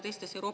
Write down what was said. Teie aeg!